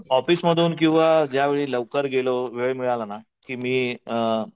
ऑफिसमधून किंवा ज्यावेळेला लवकर गेलो वेळ मिळाला ना की मी अ